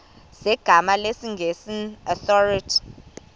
zegama lesngesn authorit